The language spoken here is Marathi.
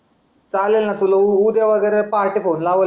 चालेल ना तुला ऊ उद्या वगेरे पहाटे फोन लावल मी